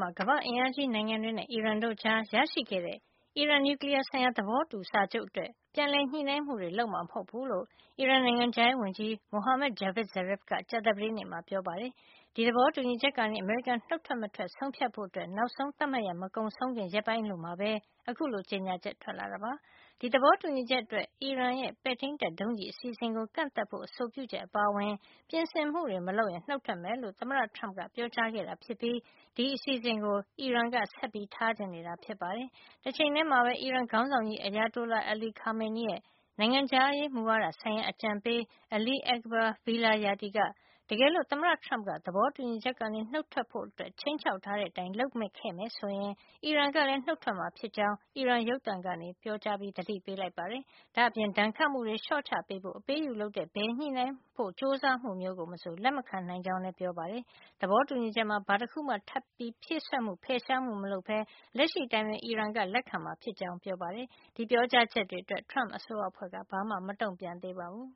မှာ ကမ္ဘာ့အင်အားကြီးနိုင်ငံတွေနဲ့ အီရန်တို့အကြား ရရှိခဲ့တဲ့ အီရန်နျူကလီယားဆိုင်ရာ သဘောတူစာချုပ်အတွက် ပြန်လည်ညှိုနှိုင်းမှုတွေ လုပ်မှာမဟုတ်ဖူးလို့ အီရန် နိုင်ငံခြားရေးဝန်ကြီး Mohammad Javad Zarif က ကြာသပတေးနေ့မှာ ပြောပါတယ်။ ဒီသဘောတူညီချက်ကနေ အမေရိကန်နှုတ်ထွက်မထွက် ဆုံးဖြတ်ဖို့ နောက်ဆုံးသတ်မှတ်ရက် မကုန်ဆုံးခင် ရက်ပိုင်းအလိုမှာပဲ ခုလို ကြေညာချက် ထွက်လာတာပါ။ သဘောတူညီချက်အတွက် အီရန်ရဲ့ ပဲ့ထိန်းတပ်ဒုံးကျည် အစီအစဉ်ကိုကန့်သတ်ဖို့ အဆိုပြုချက်အပါအဝင် ပြင်ဆင်မှုတွေမလုပ်ရင် နှုတ်ထွက်မယ်လို့ သမ္မတ Trump က ပြောကြားခဲ့တာ ဖြစ်ြ့ပီး ဒီအစီအစဉ်ကို အီရန်က ဆက်ထားချင်နေတာ ဖြစ်ပါတယ်။ တချိန်ထဲမှာပဲ အီရန်ခေါင်းဆောင်ကြီး Ayatollah Ali Khamenei ရဲ့ နိုင်ငံခြားရေးမူဝါဒဆိုင်ရာ အကြံပေး Ali Akbar Velayati က တကယ်လို့ သမ္မတ Trump က သဘောတူညီချက်ကနေ နှုတ်ထွက်ဖို့ခြိမ်းခြောက်ထားတဲ့ အတိုင်း လုပ်ခဲ့ရင် အီရန်ကလည်း နှုတ်ထွက်မှာ ဖြစ်ကြောင်း အီရန်ရုပ်သံကနေ ပြောကြားပြီး သတိပေးလိုက်ပါတယ်။ ဒါ့အပြင် ဒဏ်ခတ်မှုတွေ လျှော့ချပေးဖို့ အပေးအယူလုပ်တဲ့ ဘယ်ညှိနှိုင်းဖို့ ကြိုးစားမှုမျိုးကို မဆို လက်မခံနိုင်ကြောင်းလည်း ပြောကြား လိုက်ပါတယ်။ သဘောတူညီချက်မှာ ဘာတခုမှ ထပ်ပြီးဖြည့်စွက်မှု၊ဖယ်ရှားမှု မလုပ်ပဲ လက်ရှိအတိုင်းပဲ အီရန်က လက်ခံမှာ ဖြစ်ကြောင်းလည်း ပြောပါတယ်။ အခုလို ပြောကြားချက်တွေအတွက် Trump အစိုးရအဖွဲ့က ဘာမှ မတုန့်ပြန်သေးပါဘူး။